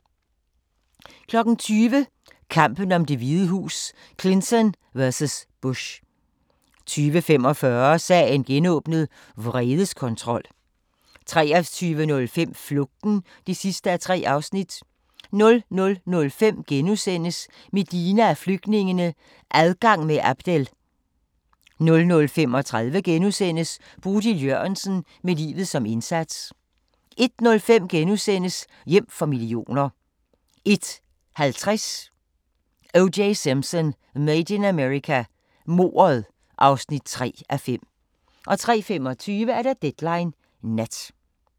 20:00: Kampen om Det Hvide Hus: Clinton vs. Bush 20:45: Sagen genåbnet: Vredeskontrol 23:05: Flugten (3:3) 00:05: Medina og flygtningene – Adgang med Abdel * 00:35: Bodil Jørgensen – med livet som indsats * 01:05: Hjem for millioner * 01:50: O.J. Simpson: Made in America – mordet (3:5) 03:25: Deadline Nat